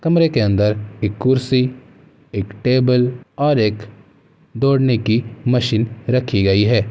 कमरे के अंदर एक कुर्सी एक टेबल और एक दौड़ने की मशीन रखी गई --।